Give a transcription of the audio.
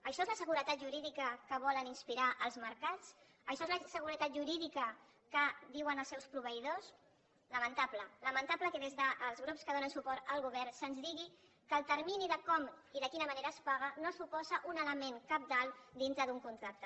això és la seguretat jurídica que volen inspirar en els mercats això és la seguretat jurídica que diuen als seus proveïdors lamentable lamentable que des dels grups que donen suport al govern se’ns digui que el termini de com i de quina manera es paga no suposa un element cabdal dintre d’un contracte